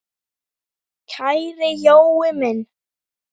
Kæri Jói minn!